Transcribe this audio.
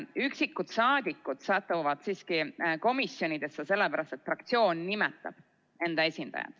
Üksikud saadikud satuvad siiski komisjonidesse sellepärast, et fraktsioon nimetab enda esindaja.